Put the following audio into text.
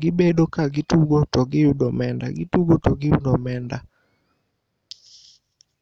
gibedo ka gitugo to giyudo omenda, gitugo to giyudo omenda.